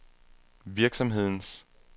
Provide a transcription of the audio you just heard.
virksomhedens